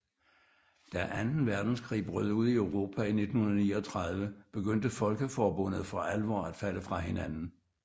Da anden verdenskrig brød ud i Europa i 1939 begyndte Folkeforbundet for alvor at falde fra hinanden